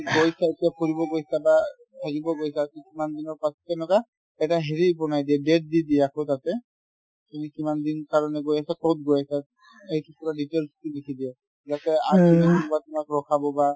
গৈছা এতিয়া ফুৰিব গৈছা বা থাকিব গৈছা to কিমান দিনৰ পাছত তেনেকুৱা এটা হেৰি বনাই দিয়ে date দি দিয়ে আকৌ তাতে তুমি কিমান দিন কাৰণে গৈ আছা ক'ত গৈ আছা এইটো পূৰা details তো লিখি দিয়ে যাতে আপুনি ৰখাব বা